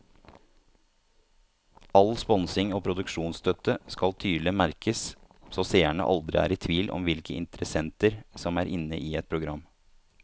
All sponsing og produksjonsstøtte skal tydelig merkes så seerne aldri er i tvil om hvilke interessenter som er inne i et program.